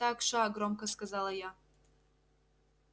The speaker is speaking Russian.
так ша громко сказала я